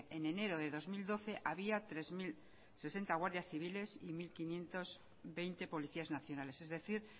en enero de dos mil doce había tres mil sesenta guardias civiles y mil quinientos veinte policías nacionales es decir